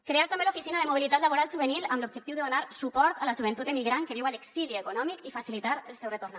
crear també l’oficina de mobilitat laboral juvenil amb l’objectiu de donar suport a la joventut emigrant que viu a l’exili econòmic i facilitar el seu retorn